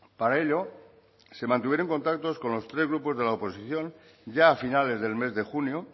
para ello se mantuvieron contactos con los tres grupos de la oposición ya a finales del mes de junio